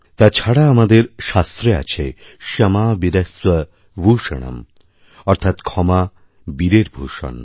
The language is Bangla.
তাছাড়া আমাদেরশাস্ত্রে আছে ক্ষমা বীরস্য ভূষণম অর্থাৎ ক্ষমা বীরের ভূষণ